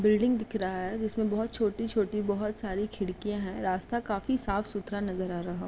Building दिख रहा है जिसमें बहोत छोटी छोटी बहोत सारी खिड़कियां हैं। रास्ता काफी साफ़ सुथरा नजर आ रहा --